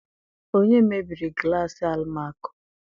Onye mebiri glassị Almako?